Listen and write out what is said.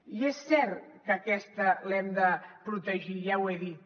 i és cert que aquesta l’hem de protegir ja ho he dit